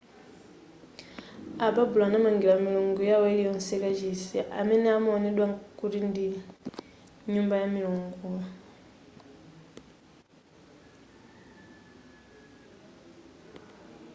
ababulo anamangira milungu yawo iliyonse kachisi amene amawonedwa kuti ndi nyumba ya milunguyo